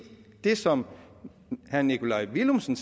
der som herre nikolaj villumsen